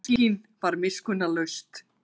Sólskin var miskunnarlaust.